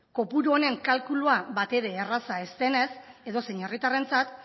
kopuru honen kalkulua batere erraza ez denez edozein herritarrentzat